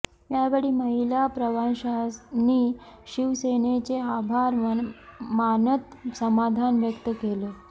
यावेळी महिला प्रवाशांनी शिवसेनेचे आभार मानत समाधान व्यक्त केले